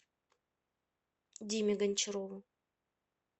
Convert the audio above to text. диме гончарову